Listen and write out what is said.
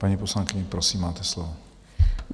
Paní poslankyně, prosím, máte slovo.